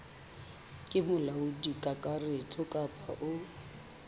ke molaodi kakaretso kapa o